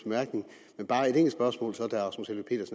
men bare et enkelt spørgsmål